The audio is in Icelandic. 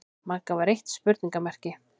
Magga var eitt spurningarmerki.